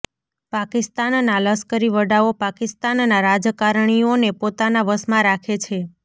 પાકિસ્તાનના લશ્કરી વડાઓ પાકિસ્તાનના રાજકારણીઓને પોતાના વશમાં રાખે છે